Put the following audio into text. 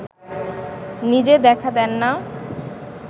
নিজে দেখা দেন না